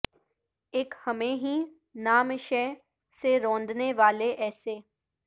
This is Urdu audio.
اک ہمیں ہیں نام شہ سے روندنے والے ایسے